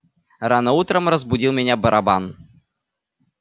рано утром разбудил меня барабан